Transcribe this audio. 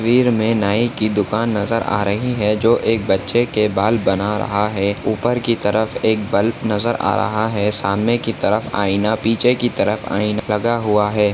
मे नाई की दुकान नजर आ रही है जो एक बच्चे के बाल बना रहा है उपर की तरफ एक बल्ब नजर आ रहा है सामने की तरफ आईना पीछे की तरफ आईना लगा हुआ है।